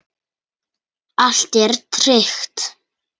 Allt er tryggt.